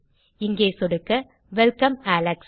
இங்கே சொடுக்க welcome Alex